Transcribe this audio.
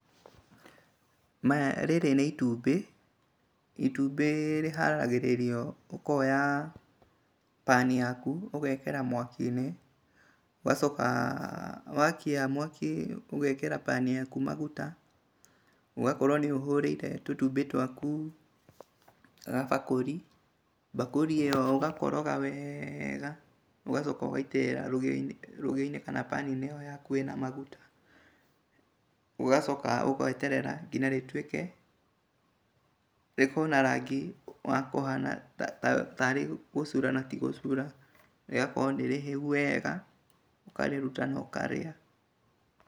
Maya, rĩrĩ nĩ itumbĩ, itumbĩ rĩharagĩrĩrio ũkoya pan yaku, ũgekĩra mwaki-inĩ, ũgacoka wakia mwaki ũgekĩra pan yaku maguta, ũgakorwo nĩ ũhũrĩte tũtumbĩ twaku gabakũri, mbakũri ĩyo ũgakoroga wega ũgacoka ũgaitĩrĩra rũgĩo-inĩ kana pan-inĩ ĩyo yaku ĩna maguta, ũgacoka ũgeterera nginya rĩtuĩke rĩkorwo na rangi wa kũhana taarĩ gũcura na ti gũcura, rĩgakorwo nĩ rĩhĩu wega, ũkarĩruta na ũkarĩa.